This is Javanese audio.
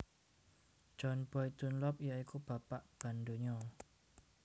John Boyd Dunlop ya iku bapak ban donya